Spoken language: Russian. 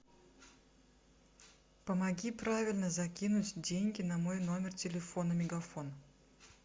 помоги правильно закинуть деньги на мой номер телефона мегафон